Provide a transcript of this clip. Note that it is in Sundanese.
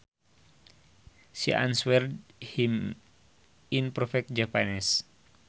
She answered him in perfect Japanese